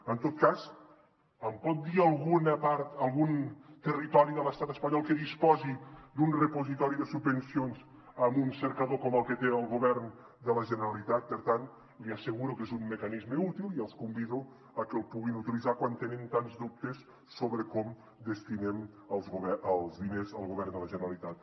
en tot cas em pot dir alguna part algun territori de l’estat espanyol que disposi d’un repositori de subvencions amb un cercador com el que té el govern de la generalitat per tant li asseguro que és un mecanisme útil i els convido a que el puguin utilitzar quan tenen tants dubtes sobre com destinem els diners el govern de la generalitat